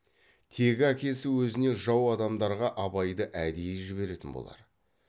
тегі әкесі өзіне жау адамдарға абайды әдейі жіберетін болар